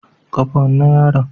Kafa wannan yaron